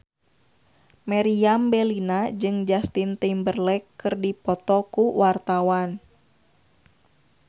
Meriam Bellina jeung Justin Timberlake keur dipoto ku wartawan